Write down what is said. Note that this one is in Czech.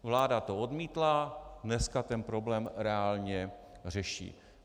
Vláda to odmítla, dneska ten problém reálně řeší.